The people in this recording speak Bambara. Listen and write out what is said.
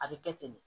A bɛ kɛ ten de